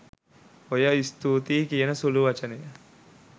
ඔය ස්තුතියි කියන සුළු වචනය